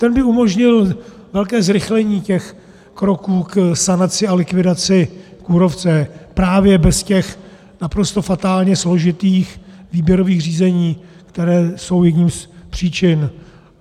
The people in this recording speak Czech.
Ten by umožnil velké zrychlení těch kroků k sanaci a likvidaci kůrovce právě bez těch naprosto fatálně složitých výběrových řízení, která jsou jednou z příčin.